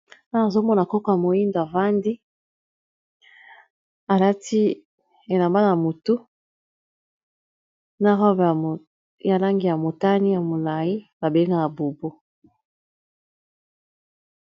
ana azomona koka moinda vandi alati elamba na motu na robe ya langi ya motani ya molai babengaka bubu